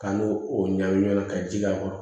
Ka n'o o ɲagami ɲɔgɔn na ka ji k'a kɔrɔ